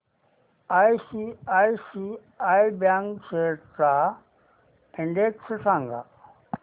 ICICI bank shares चा index सांगा